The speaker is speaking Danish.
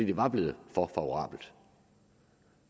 det var blevet for favorabelt